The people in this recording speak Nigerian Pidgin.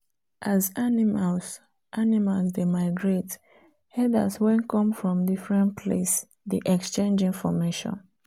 as animals animals dey migrate herders wen come from different place dey exchange information